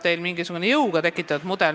Teil on mingisugune jõuga tekitatud mudel.